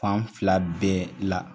Fan fila bɛɛ la.